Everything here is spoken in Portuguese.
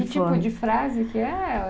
E que tipo de frase que é?